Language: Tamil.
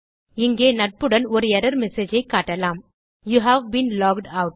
இங்கே நட்புடன் ஒரு எர்ரர் மெசேஜ் ஐ காட்டலாம் யூவ் பீன் லாக்ட் ஆட்